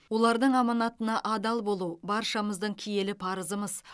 олардың аманатына адал болу баршамыздың киелі парызымыз